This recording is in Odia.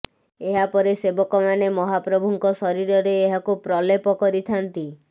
ଏହା ପରେ ସେବକମାନେ ମହାପ୍ରଭୁଙ୍କ ଶରୀରରେ ଏହାକୁ ପ୍ରଲେପ କରିଥାଆନ୍ତି